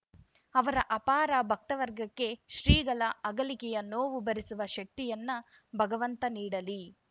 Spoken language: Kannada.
ಅವರ ಅಪಾರ ಭಕ್ತ ವರ್ಗಕ್ಕೆ ಶ್ರೀಗಳ ಅಗಲಿಕೆಯ ನೋವು ಭರಿಸುವ ಶಕ್ತಿಯನ್ನ ಭಗವಂತ ನೀಡಲಿ